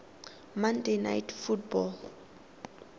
monday night football